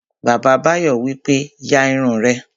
Bàbá Báyọ̀ wípé, "ya irun rẹ!"